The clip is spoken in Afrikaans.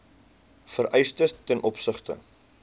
vereistes ten opsigte